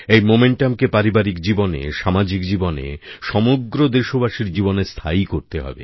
এই উদ্দীপনাকে পারিবারিক জীবনে সামাজিক জীবনে সমগ্র দেশবাসীর জীবনে স্থায়ী করতে হবে